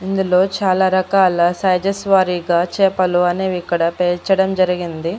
ఇందులో చాలా రకాల సైజెస్ వారిగా చేపలు అనేవి ఇక్కడ పేర్చడం జరిగింది.